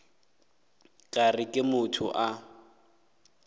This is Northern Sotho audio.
ka re ke motho a